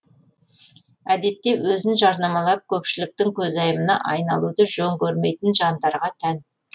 әдетте өзін жарнамалап көпшіліктің көзайымына айналуды жөн көрмейтін жандарға тән